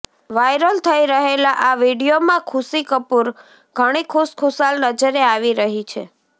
viral થઇ રહેલા આ વિડીયોમાં ખુશી કપૂર ઘણી ખુશખુશાલ નજરે આવી રહી છે